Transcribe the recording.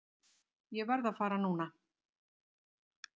Ég verð að fara núna!